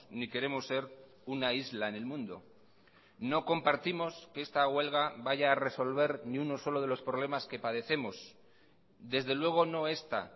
ni queremos ser una isla en el mundo no compartimos que esta huelga vaya a resolver ni uno solo de los problemas que padecemos desde luego no esta